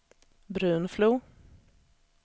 Brunflo